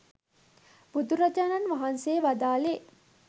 බුදුරජාණන් වහන්සේ වදාළේ